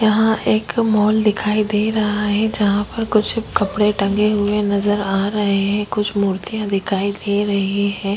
यहाँ एक मॉल दिखाई दे रहा है जहाँ पर कुछ कपड़े टांगे हुए नजर आ रहे हैं कुछ मूर्तियाँ दिखाई दे रही है।